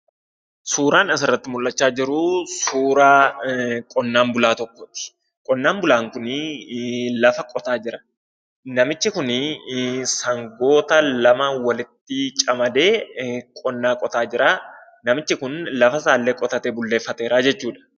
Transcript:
Suuraan asirratti mul'achaa jiruu suuraa qonnaan bulaa tokkooti. Qonnaan bulaan kunii lafa qotaa jira. Namichi kunii sangoota lama walitti camadee qonnaa qotaa jiraa. Namichi kun lafa isaallee qotatee bulleeffateeraa jechuudha.